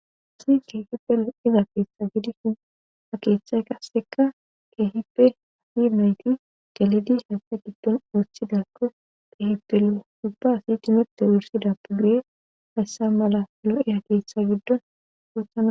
Asi keehipelo7iza keessa gidishin a keeththay kasseka keehippe hafinoyti dalidis hayssa giddon oothidakko qeehipele dubba asi timete wursida pudduye hayssa mala yor7e ha keessa giddon wothana.